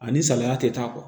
Ani salaya tɛ taa kuwa